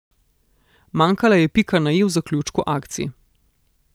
Manjkala je pika na i v zaključku akcij.